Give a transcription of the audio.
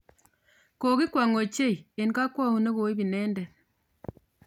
kokikwony ochei eng kokwaaut negoib inendet